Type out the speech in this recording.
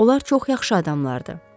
Onlar çox yaxşı adamlardır.